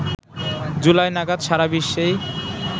জুলাই নাগাদ সারা বিশ্বেই